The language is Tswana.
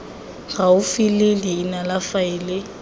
gaufi le leina la faele